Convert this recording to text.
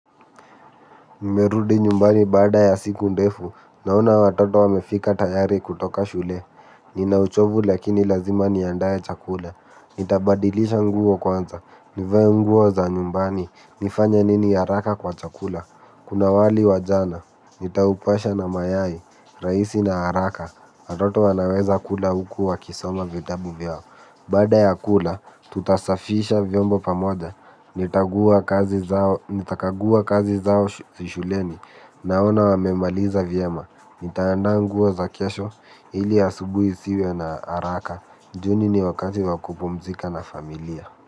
Nimerudi nyumbani baada ya siku ndefu. Naona watoto wamefika tayari kutoka shule. Nina uchovu lakini lazima niandae chakula. Nitabadilisha nguo kwanza. Nivae nguo za nyumbani. Nifanye nini haraka kwa chakula? Kuna wali wa jana. Nitaupasha na mayai. Raisi na haraka. Watoto wanaweza kula huku wakisoma vitabu vyao. Baada ya kula, tutasafisha vyombo pamoja, nitakagua kazi zao shuleni, naona wamemaliza vyema. Nitaanda nguo za kesho, ili asubuhi isiwe na haraka. Jioni ni wakati wa kupumzika na familia.